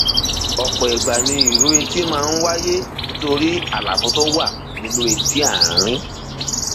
ọpọ ìgbà ni ìró etí máa ń wáyé nítorí àlàfo tó wà nínú etí àárín